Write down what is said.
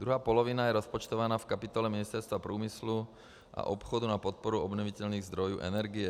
Druhá polovina je rozpočtována v kapitole Ministerstva průmyslu a obchodu na podporu obnovitelných zdrojů energie.